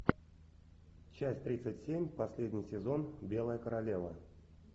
часть тридцать семь последний сезон белая королева